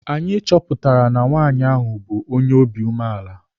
Anyị chọpụtara na nwaanyị ahụ bụ onye umeala.